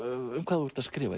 um hvað þú ert að skrifa